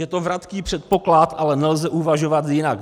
Je to vratký předpoklad, ale nelze uvažovat jinak.